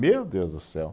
Meu Deus do céu.